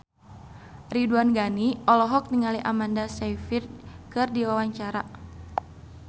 Ridwan Ghani olohok ningali Amanda Sayfried keur diwawancara